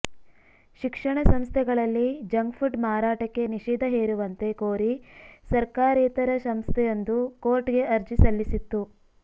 ಶಿಕ್ಷಣ ಸಂಸ್ಥೆಗಳಲ್ಲಿ ಜಂಕ್ಫುಡ್ ಮಾರಾಟಕ್ಕೆ ನಿಷೇಧ ಹೇರುವಂತೆ ಕೋರಿ ಸರ್ಕಾರೇತರ ಸಂಸ್ಥೆಯೊಂದು ಕೋರ್ಟ್ಗೆ ಅರ್ಜಿ ಸಲ್ಲಿಸಿತ್ತು